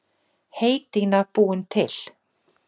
Heydýna búin til.